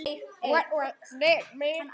Hvað er þetta!